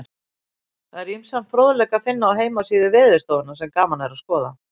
Það er ýmsan fróðleik að finna á heimasíðu Veðurstofunnar sem gaman er að skoða.